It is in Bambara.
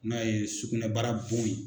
N'a ye sugunɛbara bɔ yen.